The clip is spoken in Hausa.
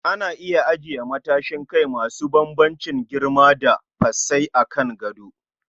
Ana iya ajiye matsashin kai masu bambamcin girma da fasai a kan gado